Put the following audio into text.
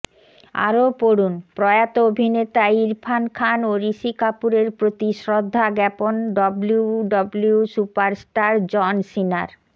আরও পড়ুনঃপ্রয়াত অভিনেতা ইরফান খান ও ঋষি কাপুরের প্রতি শ্রদ্ধা জ্ঞাপন ডব্লুডব্লুই সুপারস্টার জন সিনার